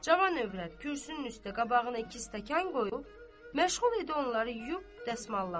Cavan övrət kürsünün üstə qabağına iki stəkan qoyub məşğul idi onları yuyub dəsmallamağa.